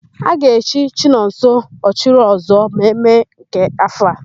A ga-echi Chinọnso, Ọchịrịọzụọ na Mee nke áfọ̀ a.